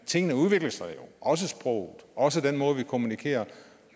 tingene udvikler sig jo også sproget også den måde vi kommunikerer